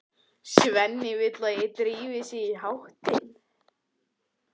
Svenni vill að þeir drífi sig í háttinn.